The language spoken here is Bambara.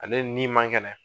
Ale ni ma kɛnɛ.